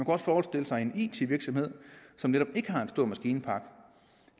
også forestille sig en it virksomhed som netop ikke har en stor maskinpark